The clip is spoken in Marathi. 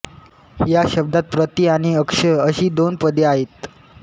या शब्दात प्रति आणि अक्ष अशी दोन पदे आहेत